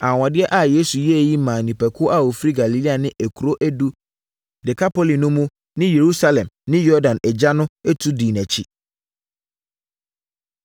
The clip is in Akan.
Anwanwadeɛ a Yesu yɛeɛ yi maa nnipakuo a wɔfiri Galilea ne Nkuro Edu “Dekapoli” no mu ne Yerusalem ne Yordan agya tu dii nʼakyi.